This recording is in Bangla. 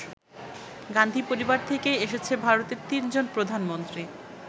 গান্ধী পরিবার থেকেই এসেছে ভারতের তিনজন প্রধানমন্ত্রী।